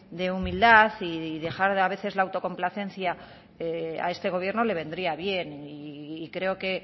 de humildad y dejar a veces la autocomplacencia a este gobierno le vendría bien y creo que